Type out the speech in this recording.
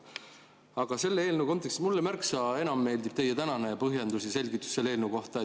Aga selle eelnõu kontekstis meeldib mulle märksa enam teie tänane põhjendus või selgitus selle eelnõu kohta.